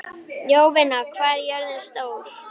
Jovina, hvað er jörðin stór?